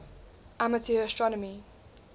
amateur astronomy